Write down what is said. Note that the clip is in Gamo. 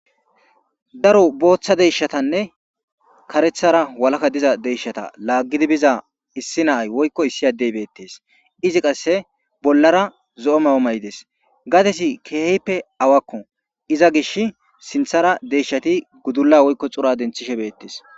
Daro boththa deyishshatanne kareththara walaka diza deyishshata lagid biza issi na'ayi woyikko issi adeyi betees.izzi qase bollara zo'o mayo mayidees.gadezzi kehippe awakko iza gishshi sinththara deyishshata sinththara gudala woyikko xuura deniththishshe betees .